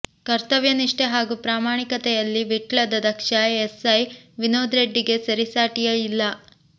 ಕರ್ತವ್ಯ ನಿಷ್ಠೆ ಹಾಗೂ ಪ್ರಾಮಾಣಿಕತೆಯಲ್ಲಿ ವಿಟ್ಲದ ದಕ್ಷ ಎಸ್ ಐ ವಿನೋದ್ ರೆಡ್ಡಿಗೆ ಸರಿಸಾಟಿಯೇ ಇಲ್ಲ